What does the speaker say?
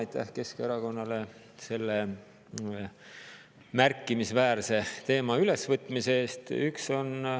Aitäh Keskerakonnale selle märkimisväärse teema ülesvõtmise eest!